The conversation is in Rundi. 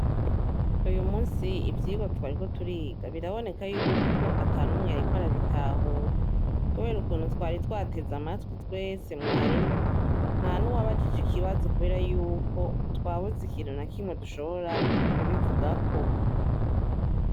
Uyu musi ivyirwa twariko turiga biraboneka yuko atanumwe yariko arabitahura kubera ukuntu twari twateze amatwi twese mwarimu ntanuwababajije ikibazo kubera yuko twabuze ikintu nakimwe dushobora kubivugako